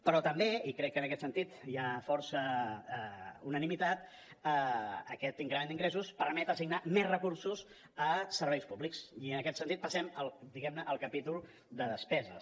però també i crec que en aquest sentit hi ha força unanimitat aquest increment d’ingressos permet assignar més recursos a serveis públics i en aquest sentit passem diguem ne al capítol de despeses